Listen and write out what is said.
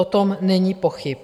O tom není pochyb.